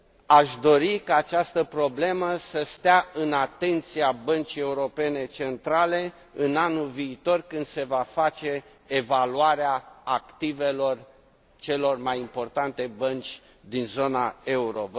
Aș dori ca această problemă să stea în atenția Băncii Centrale Europene în anul viitor, când se va face evaluarea activelor celor mai importante bănci din zona euro.